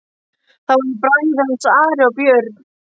Það voru bræður hans, Ari og Björn.